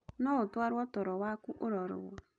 No ũtarwo toro waku ũrorwo.